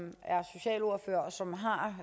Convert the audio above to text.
socialordfører og som har